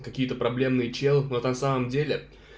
какие-то проблемы и член нато самом деле